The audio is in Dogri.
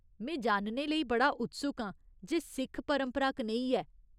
में जानने लेई बड़ा उत्सुक आं जे सिख परंपरा कनेही ऐ।